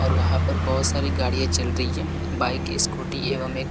और वहां पर बहोत सारी गाड़ियां चल रही है। बाइक स्कूटी एवं एक--